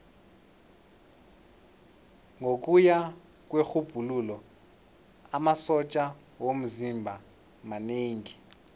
ngokuya kwerhubhululo amasotja womzimba manengi